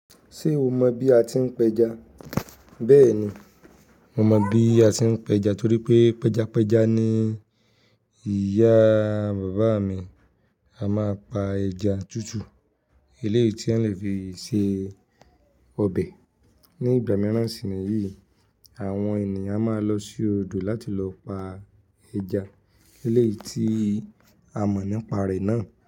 Ṣé o mọ bí a ti ń pẹja? Bẹ́ẹ̀ni, mo mọ bí a ti ń pẹja torí pé pẹjapẹja ni ìyá bàbá mi. A máa pa ẹja tútù, eléyìí tí won le fi se ọbẹ̀. Ni ìgbà mìíràn sì ni yìí, àwọn ènìyàn máa lọ sí odò láti lọ pa ẹja. Eléyìí tí a mọ̀ nípa re náà.